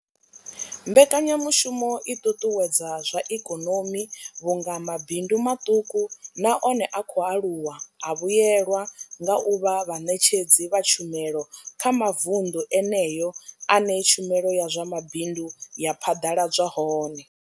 Mbekanyamushumo i ṱuṱuwedza zwa ikonomi vhunga mabindu maṱuku na one a khou aluwa a vhuelwa nga u vha vhaṋetshedzi vha tshumelo kha mavundu eneyo ane tshumelo ya zwa mabindu ya phaḓaladzwa hone.